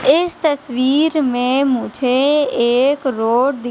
इस तस्वीर में मुझे एक रोड दि--